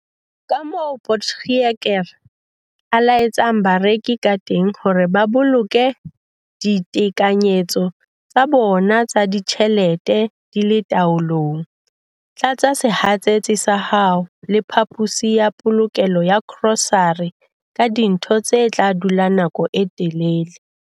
Kamoo Potgieter a eletsang bareki kateng hore ba boloke ditekanyetso tsa bona tsa ditjhelete di le taolong- Tlatsa sehatsetsi sa hao le phaposi ya polokelo ya grosare ka dintho tse tla dula nako e telele.